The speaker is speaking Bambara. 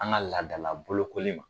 An ka laadala bolokoli ma.